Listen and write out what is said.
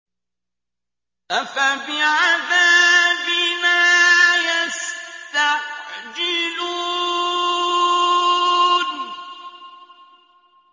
أَفَبِعَذَابِنَا يَسْتَعْجِلُونَ